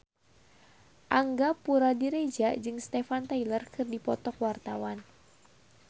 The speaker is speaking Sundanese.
Angga Puradiredja jeung Steven Tyler keur dipoto ku wartawan